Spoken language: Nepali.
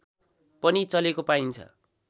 पनि चलेको पाइन्छ